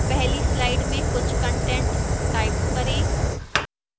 पहली slide में कुछ कंटेंट type करें